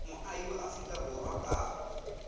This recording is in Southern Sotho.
moahi wa afrika borwa kapa